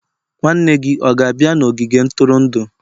nwanne gị ọ ga-abịa n'ogige ntụrụndụ?